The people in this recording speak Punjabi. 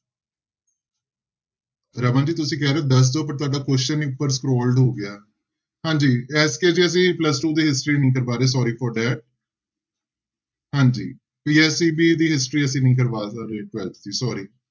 ਰਮਨ ਜੀ ਤੁਸੀਂ ਕਹਿ ਰਹੇ ਹੋ, ਦਸ ਦੇ ਉੱਪਰ ਤੁਹਾਡਾ question ਹੋ ਗਿਆ ਹਾਂਜੀ ਐਤਕੀ ਜੀ ਅਸੀਂ plus-two ਦੀ history ਨਹੀਂ ਕਰਵਾ ਰਹੇ sorry for that ਹਾਂਜੀ PSEB ਦੀ history ਅਸੀਂ ਕਰਵਾ ਰਹੇ twelfth ਦੀ sorry